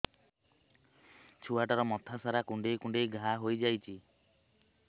ଛୁଆଟାର ମଥା ସାରା କୁଂଡେଇ କୁଂଡେଇ ଘାଆ ହୋଇ ଯାଇଛି